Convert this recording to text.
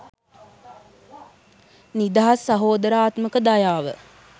නිදහස් සහෝදරාත්මක දයාව